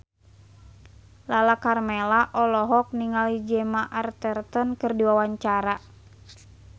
Lala Karmela olohok ningali Gemma Arterton keur diwawancara